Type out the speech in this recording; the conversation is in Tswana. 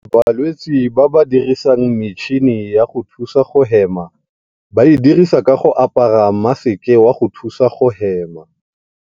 Balwetse ba ba dirisang metšhini ya go thusa go hema ba e dirisa ka go apara maseke wa go thusa go hema.